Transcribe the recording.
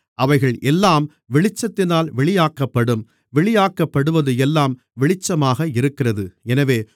அவைகள் எல்லாம் வெளிச்சத்தினால் வெளியாக்கப்படும் வெளியாக்கப்படுவது எல்லாம் வெளிச்சமாக இருக்கிறது